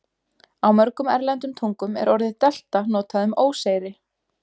Á mörgum erlendum tungum er orðið delta notað um óseyri.